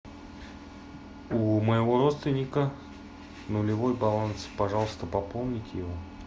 у моего родственника нулевой баланс пожалуйста пополните его